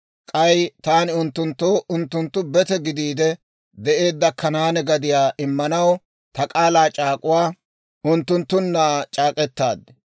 K'ay taani unttunttoo unttunttu bete gidiide de'eedda Kanaane gadiyaa immanaw ta k'aalaa c'aak'uwaa unttunttunna c'aak'k'etaad.